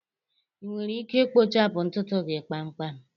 Ị nwere ike ikpochapụ ntutu gị kpamkpam